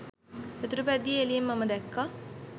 යතුරුපැදියේ එළියෙන් මම දැක්කා.